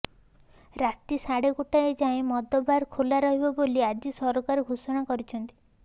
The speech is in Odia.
ରାତି ସାଢେ ଗୋଟାଏ ଯାଏଁ ମଦବାର ଖୋଲାରହିବ ବୋଲି ଆଜି ସରକାର ଘୋଷଣା କରିଛନ୍ତି